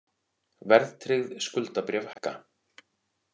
Verðtryggð skuldabréf hækka